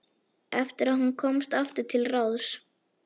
Eftir að hún komst aftur til ráðs.